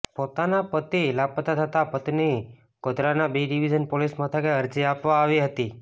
પોતાનો પતિ લાપત્તા થતાં પત્ની ગોધરાના બી ડીવીઝન પોલીસ મથકે અરજી આપવા આવી હતી